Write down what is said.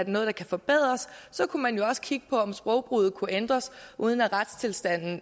noget der kan forbedres og så kunne man jo også kigge på om sprogbruget kunne ændres uden at retstilstanden